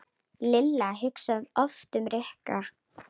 Lilla hugsaði oft um Rikku.